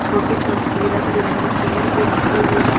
छोटी छोटी रंग बिरंगी चेयर भी रखी हुई है।